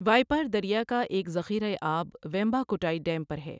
وائپار دریا کا ایک ذخیرہ آب ویمباکوٹائی ڈیم پر ہے۔